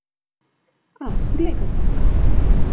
A, glej ga zlomka!